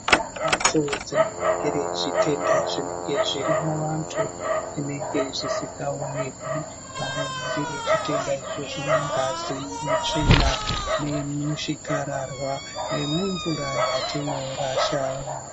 Mhatso dzinoringire zvitenda zvinenge zvirimuantu, zvinenge zvisikaonekwi, vanoringire zvitenda izvozvo mungazi, mutsvina, nemuchikararwa nemumvura yatinorashawo.